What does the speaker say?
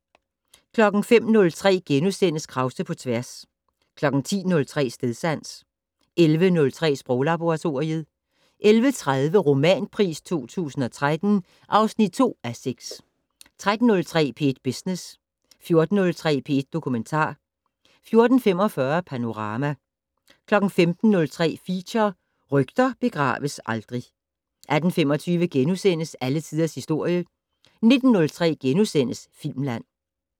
05:03: Krause på tværs * 10:03: Stedsans 11:03: Sproglaboratoriet 11:30: Romanpris 2013 (2:6) 13:03: P1 Business 14:03: P1 Dokumentar 14:45: Panorama 15:03: Feature: Rygter begraves aldrig 18:25: Alle tiders historie * 19:03: Filmland *